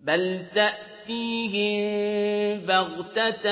بَلْ تَأْتِيهِم بَغْتَةً